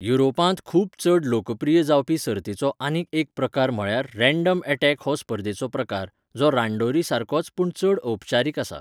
युरोपांत खूब चड लोकप्रिय जावपी सर्तीचो आनीक एक प्रकार म्हळ्यार रॅंडम ऍटॅक हो स्पर्धेचो प्रकार, जो रांडोरी सारकोच पूण चड औपचारीक आसा.